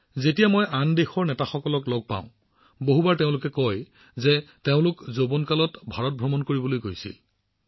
যেতিয়া মই আন দেশৰ নেতাসকলক লগ পাওঁ বহুসময়ত তেওঁলোকে মোক কয় যে তেওঁলোকে যৌৱনকালত ভাৰত ভ্ৰমণ কৰিবলৈ গৈছিল